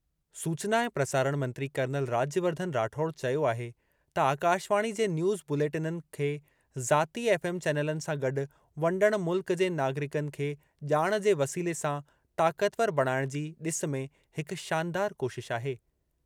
सूचना ऐं प्रसारण मंत्री कर्नल राज्यवर्धन राठौड़ चयो आहे त आकाशवाणी जे न्यूज़ बुलेटिननि खे ज़ाती एफ़एम चैनलनि सां गॾु वंडणु मुल्क जे नागरिकनि खे ॼाण जे वसीले सां ताक़तवर बणाइणु जी डि॒स में हिक शानदार कोशिश आहे।